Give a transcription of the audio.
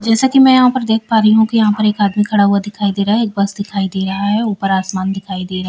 जैसा कि मैं यहां पर देख पा रही हूं कि यहां पर एक आदमी खड़ा हुआ दिखाई दे रहा है एक बस दिखाई दे या है ऊपर आसमान दिखाई दे रहा --